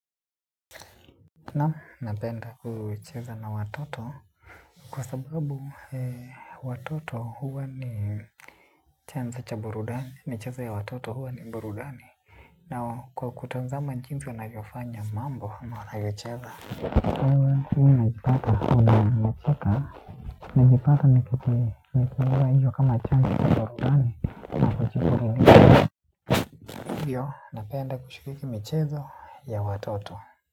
Naam napenda kucheza na watoto kwa sababu watoto huwa ni chanzo cha burudani, michezo ya watoto huwa ni burudani. Na kwa kutazama jinsi wanavyofanya mambo na wanayocheza. Wewe huwa najipata, najipata, najipata, najipata nikichukua hiyo kama chanzo cha burudani. Hivho, napenda kushiriki michezo ya watoto.